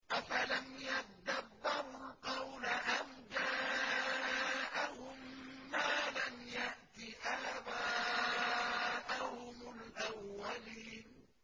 أَفَلَمْ يَدَّبَّرُوا الْقَوْلَ أَمْ جَاءَهُم مَّا لَمْ يَأْتِ آبَاءَهُمُ الْأَوَّلِينَ